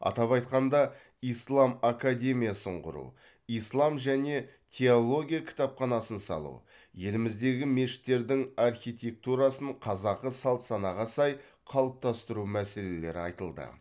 атап айтқанда ислам академиясын құру ислам және теология кітапханасын салу еліміздегі мешіттердің архитектурасын қазақы салт санаға сай қалыптастыру мәселелері айтылды